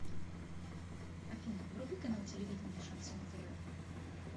афина вруби канал телевидения шансон тв